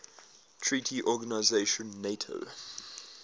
treaty organisation nato